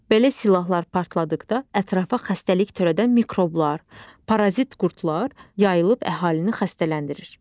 Belə silahlar partladıqda ətrafa xəstəlik törədən mikroblar, parazit qurdlar yayılıb əhalini xəstələndirir.